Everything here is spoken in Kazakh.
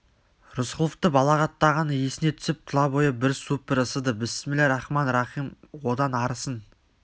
рысқұловты балағаттағаны есіне түсіп тұла бойы бір суып бір ысыды бісміллә рахман-рахым одан арысын